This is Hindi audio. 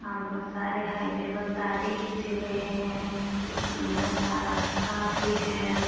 यहां बहुत सारे हाई लेवल तारे खींचे गए हैं एक सुंदर सा रास्ता भी है।